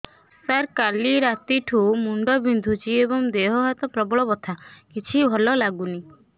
ସାର କାଲି ରାତିଠୁ ମୁଣ୍ଡ ବିନ୍ଧୁଛି ଏବଂ ଦେହ ହାତ ପ୍ରବଳ ବଥା କିଛି ଭଲ ଲାଗୁନି